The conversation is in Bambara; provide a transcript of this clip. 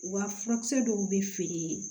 Wa furakisɛ dɔw bɛ feere